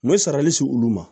N bɛ sarali si olu ma